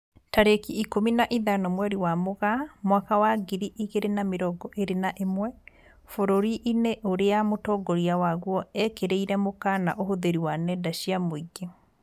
Tarĩki ikũmi na ithano mweri wa Mũgaa mwaka wa ngiri igĩrĩ na mĩrongo ĩrĩ na ĩmwe, bũrũri-inĩ ũrĩa mũtongoria waguo ekĩrirĩre mũkana ũhũthĩri wa nenda cia mũingĩ